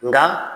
Nka